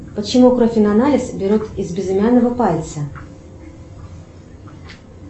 почему кровь на анализ берут из безымянного пальца